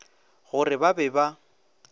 go re ba be ba